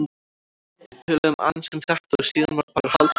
Við töluðum aðeins um þetta og síðan var bara haldið áfram.